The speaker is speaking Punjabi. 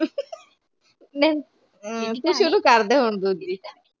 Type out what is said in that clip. ਨਹੀਂ ਤੂੰ ਸ਼ੁਰੂ ਕਰਦੇ ਹੁਣ ਦੂਜੀ